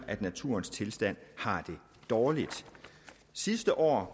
at naturens tilstand er dårlig sidste år